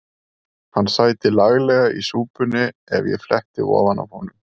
Hann sæti laglega í súpunni ef ég fletti ofan af honum.